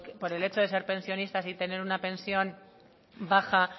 por el hecho der ser pensionistas y tener una pensión baja